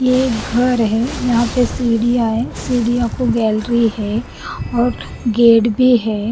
ये एक घर है यहाँ पे सीढ़ियाँ है सीढ़ियों को गैलरी है और गेट भी है।